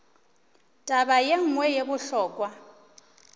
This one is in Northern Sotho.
taba ye nngwe ye bohlokwa